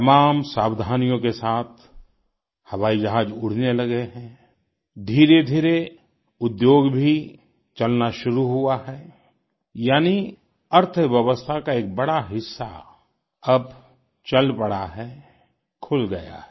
तमाम सावधानियों के साथ हवाई जहाज उड़ने लगे हैं धीधीरे रेउद्योग भी चलना शुरू हुआ है यानी अर्थव्यवस्था का एक बड़ा हिस्सा अब चल पड़ा है खुल गया है